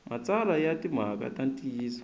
matsalwa ya timhaka ta ntiyiso